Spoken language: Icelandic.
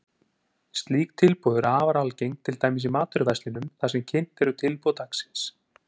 Slík tilboð eru afar algeng, til dæmis í matvöruverslunum þar sem kynnt eru tilboð dagsins.